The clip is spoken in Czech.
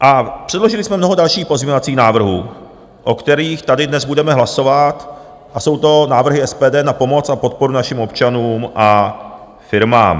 A předložili jsme mnoho dalších pozměňovacích návrhů, o kterých tady dnes budeme hlasovat, a jsou to návrhy SPD na pomoc a podporu našim občanům a firmám.